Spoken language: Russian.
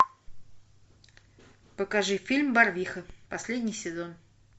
покажи фильм барвиха последний сезон